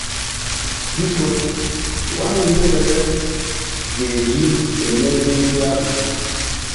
Biko gwa m ihe mere ga e ji eme ihe ndị ahụ!